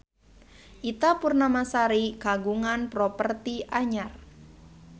Ita Purnamasari kagungan properti anyar